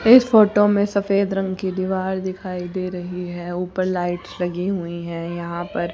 इस फोटो मे सफेद रंग की दीवार दिखाई दे रही है ऊपर लाइट लगी हुई है यहां पर--